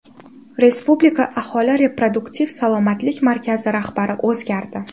Respublika aholi reproduktiv salomatlik markazi rahbari o‘zgardi.